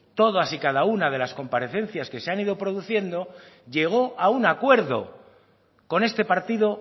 todas y cada una de las comparecencias que se han ido produciendo llegó a un acuerdo con este partido